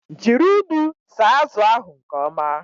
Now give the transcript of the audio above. Jiri unu saa azụ ahu nke ọma!